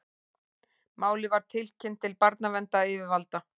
Málið var tilkynnt til barnaverndaryfirvalda